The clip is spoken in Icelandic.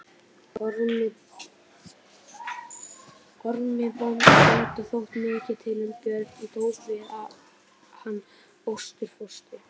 Ormi bónda þótti mikið til um Björn og tók við hann ástfóstri.